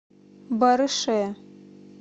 барыше